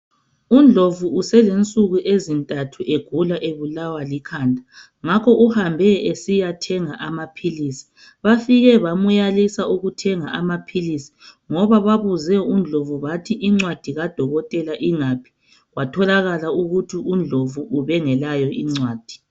UNdlovu uselensuku ezinthathu egula ebulalwa likhanda ngakho uhambe esizathenga amaphilisi bafike bamyalisa ukuthenga amaphilisi ngoba babuze UNdlovu bathi incwadi kadokotela ingaphi kwatholakala ukuthi UNdlovu ubengelayo incwadi.